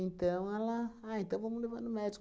ela... Ah, então vamos levar no médico.